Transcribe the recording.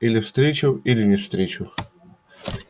или встречу или не встречу